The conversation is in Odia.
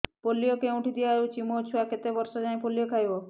ପୋଲିଓ କେଉଁଠି ଦିଆଯାଉଛି ମୋ ଛୁଆ କେତେ ବର୍ଷ ଯାଏଁ ପୋଲିଓ ଖାଇବ